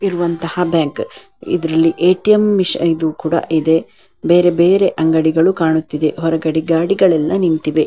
ಇರುವಂಥ ಬ್ಯಾಂಕ್ ಇದರಲ್ಲಿ ಎ.ಟಿ.ಎಂ ಮಿಸಿ ಇದು ಕೂಡ ಇದೆ ಬೇರೆ ಬೇರೆ ಅಂಗಡಿಗಳು ಕಾಣುತ್ತಿದೆ ಹೊರಗಡೆ ಗಾಡಿಗಳು ಎಲ್ಲ ನಿಂತಿವೆ.